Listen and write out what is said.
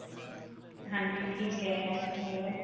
ਹਾਂਜੀ. ਠੀਕ ਹੈ. ਹੋਰ?